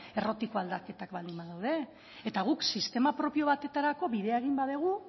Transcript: errotik aldaketak baldin ez badaude eta guk sistema propio batetarako bidea egin badugu